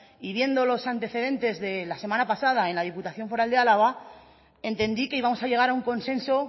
y viendo los antecedentes de la semana pasada en la diputación foral de álava entendí que íbamos a llegar a un consenso